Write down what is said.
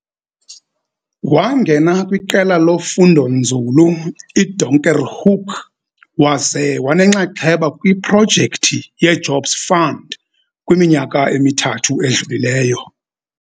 Wangena kwiQela loFundonzulu iDonkerhoek waze wanenxaxheba kwiProjekthi yeJobs Fund kwiminyaka emithathu edlulileyo.